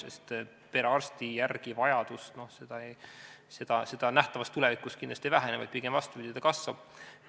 Sest vajadus perearsti järele nähtavas tulevikus kindlasti ei vähene, vaid pigem, vastupidi, kasvab.